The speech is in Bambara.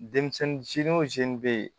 Denmisɛnnin bɛ ye